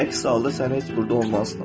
Əks halda sən heç burda olmazdın.